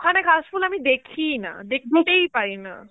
ওখানে কাশফুল আমি দেখিই না, দেখতেই পাইনা